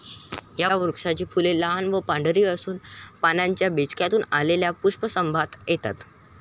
या वृक्षाची फुले लहान व पांढरी असून पानांच्या बेचक्यातून आलेल्या पुष्पसंभारात येतात.